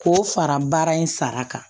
K'o fara baara in sara kan